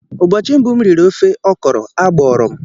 Ụbọchị mbụ m riri ofe okro, agbụrụ m.